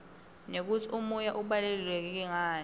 nekutsi umoya ubaluleke ngani